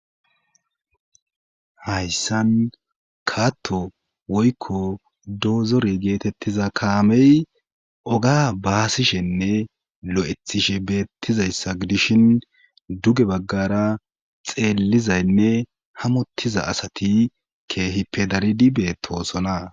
hayssan kaatto woykko doozore geetettiza kaamey oga baasishenne lo7ethishe beettizayssa gidishin duge baggara xeellizaynne hamottiza asati keehi pedaridi beetoosona